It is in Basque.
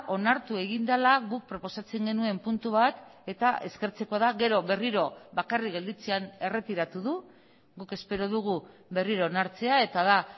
onartu egin dela guk proposatzen genuen puntu bat eta eskertzekoa da gero berriro bakarrik gelditzean erretiratu du guk espero dugu berriro onartzea eta da